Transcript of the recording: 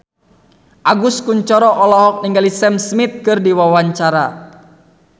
Agus Kuncoro olohok ningali Sam Smith keur diwawancara